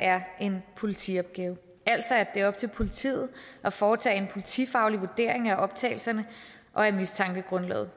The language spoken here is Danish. er en politiopgave altså at det er op til politiet at foretage en politifaglig vurdering af optagelserne og af mistankegrundlaget